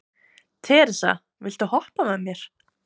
Teresa, viltu hoppa með mér?